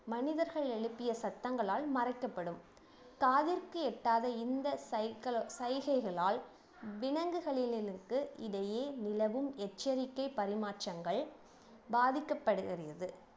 மனிதர்கள் எழுப்பிய சத்தங்களால் மறைக்கப்படும் காதிற்கு எட்டாத இந்த சைக்கு சைகைகளால் விலங்குகளிலிக்கு இடையே நிலவும் எச்சரிக்கை பரிமாற்றங்கள் பாதிக்கப்படுகிறது